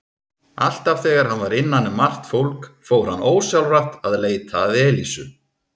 Alltaf þegar hann var innan um margt fólk fór hann ósjálfrátt að leita að Elísu.